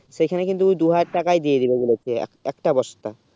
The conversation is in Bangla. সেখানে কিন্তু দুই হাজার তাকায়ে দিয়ে দিবে বলেছে এক একটা বস্তা